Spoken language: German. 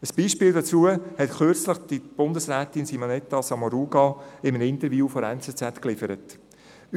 Ein Beispiel dazu lieferte kürzlich Bundesrätin Simonetta Sommaruga in einem Interview mit der «Neue Zürcher Zeitung (NZZ)».